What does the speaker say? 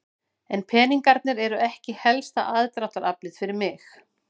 En peningarnir eru ekki helsta aðdráttaraflið fyrir mig.